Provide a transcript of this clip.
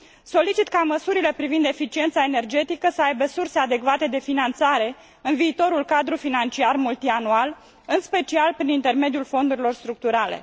Solicit ca măsurile privind eficiența energetică să aibă surse adecvate de finanțare în viitorul cadru financiar multianual, în special prin intermediul fondurilor structurale.